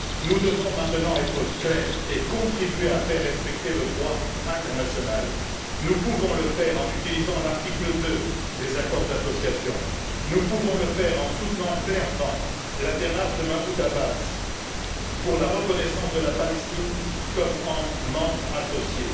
Nous devons maintenant être clairs et contribuer à faire respecter le droit international. Nous pouvons le faire en utilisant l'article 2 des accords d'association, en soutenant clairement la démarche de Mahmoud Abbas pour la reconnaissance de la Palestine comme un membre associé.